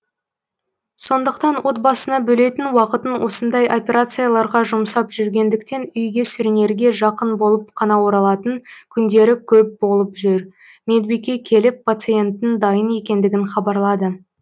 сондықтан отбасына бөлетін уақытын осындай операцияларға жұмсап жүргендіктен үйге сүрінерге жақын болып қана оралатын күндері көп болып жүр медбике келіп пациенттің дайын екендігін хабарлады